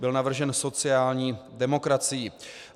Byl navržen sociální demokracií.